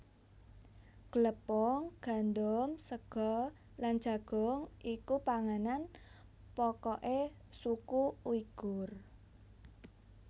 Glepung gandum sega lan jagung iku panganan pokoke suku Uighur